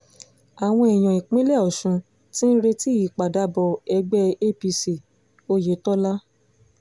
àwọn èèyàn ìpínlẹ̀ ọ̀sùn ti ń retí ìpadàbọ̀ ẹgbẹ́ apc oyetola